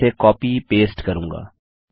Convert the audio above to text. मैं इसे copy paste करूँगा